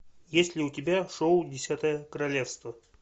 есть ли у тебя шоу десятое королевство